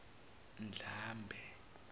ndlambe